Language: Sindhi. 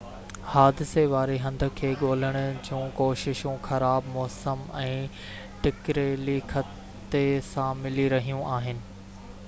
حادثي واري هنڌ کي ڳولڻ جون ڪوششون خراب موسم ۽ ٽڪريلي خطي سان ملي رهيون آهن